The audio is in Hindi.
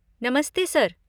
नमस्ते सर!